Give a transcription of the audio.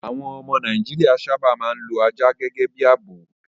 Àwọn ọmọ Nàìjíríà sábà máa ń lo ajá gẹ́gẹ́ bí ààbò.